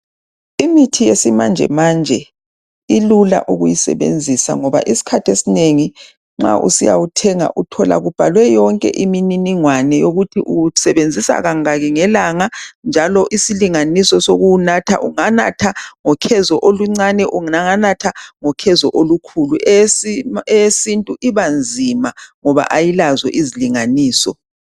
Imithi yesimanje manje isilula ukuyisebenzisa ngoba ma usiyayithenga isikhathi esinengi imininingwane yokuthi uyisebenzisa kangaki ngelanga njalo isilinganiso sokuwunatha ukuthi unatha ngokhezo olincane unganatha ngokhezo olukhulu eyesintu ibanzima ngoba ayilazi izilinganiso